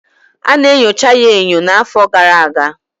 Ana enyocha ya enyo n'afọ gara aga